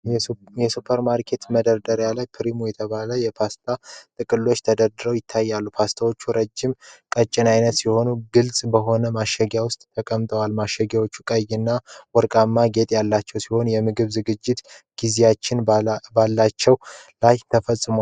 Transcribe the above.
ሱፐርማርኬት ውስጥ መደርደሪያ ላይ "Primo" የተባለ የፓስታ ጥቅሎች ተደርድረው ይታያሉ። ፓስታው ረጅም ቀጭን ዓይነት ሲሆን፣ ግልጽ በሆነ ማሸጊያ ውስጥ ተቀምጧል። ማሸጊያዎቹ ቀይና ወርቃማ ጌጥ ያላቸው ሲሆን፣ የምግብ አዘገጃጀት ጊዜያትም በላያቸው ላይ ተጽፏል።